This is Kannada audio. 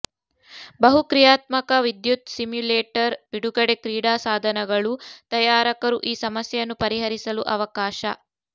ಬಹುಕ್ರಿಯಾತ್ಮಕ ವಿದ್ಯುತ್ ಸಿಮ್ಯುಲೇಟರ್ ಬಿಡುಗಡೆ ಕ್ರೀಡಾ ಸಾಧನಗಳು ತಯಾರಕರು ಈ ಸಮಸ್ಯೆಯನ್ನು ಪರಿಹರಿಸಲು ಅವಕಾಶ